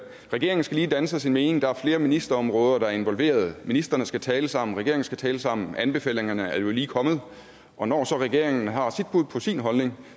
regeringen skal lige danne sig sin mening der er flere ministerområder der er involveret og ministrene skal tale sammen regeringen skal tale sammen anbefalingerne er lige kommet og når så regeringen har sit bud på sin holdning